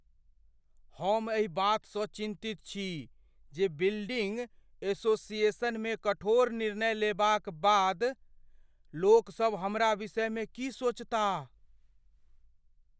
हम एहि बातसँ चिन्तित छी जे बिल्डिङ्ग एसोसिएशनमे कठोर निर्णय लेबाक बाद लोकसभ हमरा विषयमे की सोचताह।